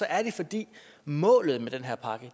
er det fordi målet med den her pakke